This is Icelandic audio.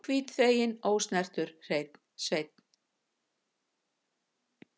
Hvítþveginn, ósnertur hreinn sveinn.